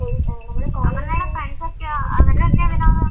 അപർണ്ണെട ഫ്രണ്ട്സോക്കെയോ